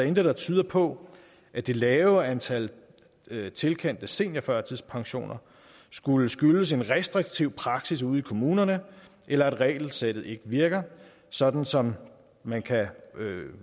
intet der tyder på at det lave antal tilkendte seniorførtidspensioner skulle skyldes en restriktiv praksis ude i kommunerne eller at regelsættet ikke virker sådan som man kan